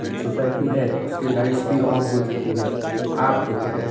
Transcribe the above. society है उसके lights भी ऑन हो चुकी है आप देखोगे --